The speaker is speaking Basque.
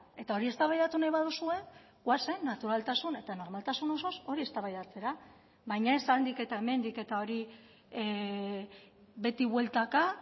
eta hori eztabaidatu nahi baduzue goazen naturaltasun eta normaltasun osoz hori eztabaidatzera baina ez handik eta hemendik eta hori beti bueltaka